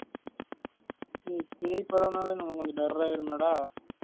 பேய் படம் நாளே எனக்கு கொஞ்சம் டர் ஆய்டுமே டா